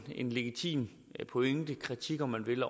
en legitim pointe kritik om man vil